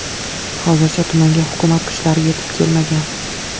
Hozircha tumanga hukumat kuchlari yetib kelmagan.